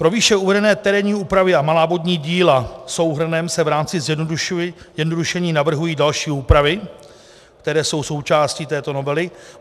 Pro výše uvedené terénní úpravy a malá vodní díla souhrnem se v rámci zjednodušení navrhují další úpravy, které jsou součástí této novely.